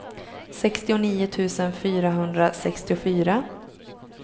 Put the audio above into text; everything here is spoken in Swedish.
sextionio tusen fyrahundrasextiofyra